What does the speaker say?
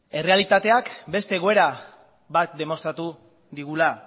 errealitateak beste egoera bat demostratu digula